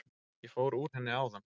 Ég fór úr henni áðan.